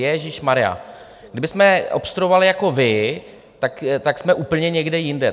Ježíšmarjá, kdybychom obstruovali jako vy, tak jsme úplně někde jinde.